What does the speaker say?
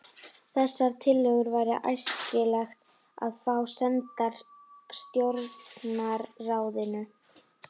Þessar tillögur væri æskilegt að fá sendar stjórnarráðinu.